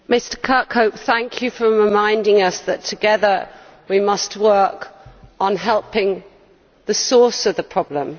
Mr Kirkhope, thank you for reminding us that together we must work on helping the source of the problem.